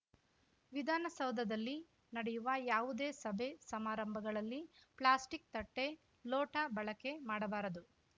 ವಿಧಾನಸೌಧದಲ್ಲಿ ನಡೆಯುವ ಯಾವುದೇ ಸಭೆ ಸಮಾರಂಭಗಳಲ್ಲಿ ಪ್ಲಾಸ್ಟಿಕ್‌ ತಟ್ಟೆ ಲೋಟ ಬಳಕೆ ಮಾಡಬಾರದು